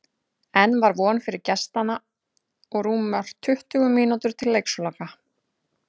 Enn var von fyrir gestanna og rúmar tuttugu mínútur til leiksloka.